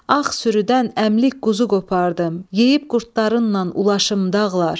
Ağ sürüdən əmlik quzu qopardım, yeyib qurdlarınla ulaşım dağlar.